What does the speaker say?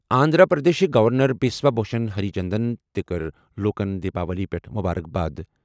آندھرا پردیشٕکۍ governor Biswa Bhusan Harichandan تہِ کٔر لوٗکَن دیپاولی پٮ۪ٹھ مبارک باد۔